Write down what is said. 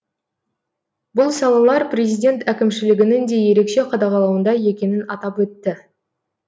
бұл салалар президент әкімшілігінің де ерекше қадағалауында екенін атап өтті